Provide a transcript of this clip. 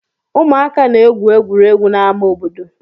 Ụmụaka na-egwu egwuregwu n'amá obodo.